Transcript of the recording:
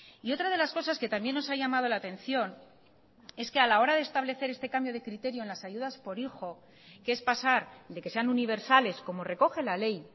y otra de las cosas que también nos ha llamado la atención es que a la hora de establecer este cambio de criterio en las ayudas por hijo que es pasar de que sean universales como recoge la ley